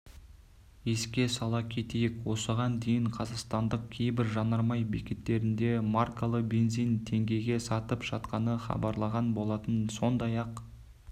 еске сала кетейік осыған дейінқазақстандық кейбір жанармай бекеттерінде маркалы бензин теңгеге сатылып жатқаны хабарланған болатын сондай-ақ